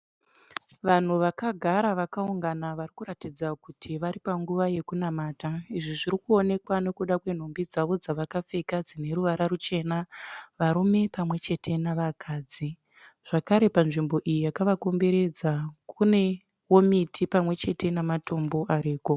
Vanhu vakagara vakaungana vari kuratidza kuti vari panguva yekunamata. Izvi zviri kuonekwa nekuda kwenhumbi dzavo dzawakapfeka dzine ruvara ruchena varume pamwe chete nevakadzi zvakare panzvimbo iyi yakawakomberedza kune miti pamwe chete namatombo zviripo